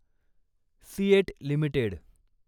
CEAT limited